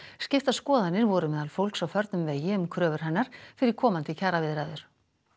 skiptar skoðanir voru meðal fólks á förnum vegi um kröfur hennar fyrir komandi kjaraviðræður